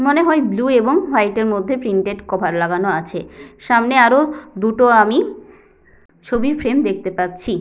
মনে হয় ব্লু এবং হোয়াইট এর মধ্যে প্রিন্টেড কভার লাগানো আছে সামনে আরো দুটো আমি ছবির ফ্রেম দেখতে পাচ্ছি।